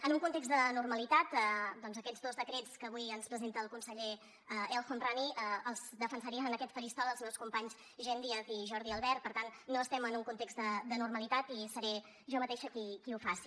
en un context de normalitat aquests dos decrets que avui ens presenta el conseller el homrani els defensarien en aquest faristol els meus companys jenn díaz i jordi albert per tant no estem en un context de normalitat i seré jo mateixa qui ho faci